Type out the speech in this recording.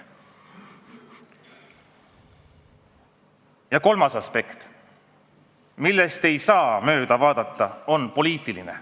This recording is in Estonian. Ja kolmas aspekt, millest ei saa mööda vaadata, on poliitiline.